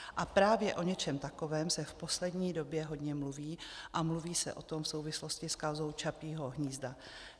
A právě o něčem takovém se v poslední době hodně mluví, a mluví se o tom v souvislosti s kauzou Čapího hnízda.